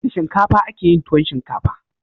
Da shinkafa akeyin tuwon shinkafa